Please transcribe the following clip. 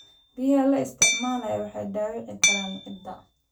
Biyaha la isticmaalo waxay dhaawici karaan ciidda.